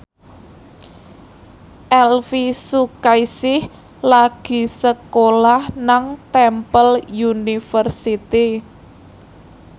Elvy Sukaesih lagi sekolah nang Temple University